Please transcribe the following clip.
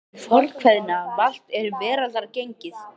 Nú sannast hið fornkveðna: Valt er veraldar gengið.